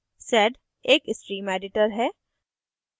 sed एक stream editor है